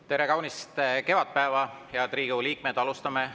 Tere kaunist kevadpäeva, head Riigikogu liikmed!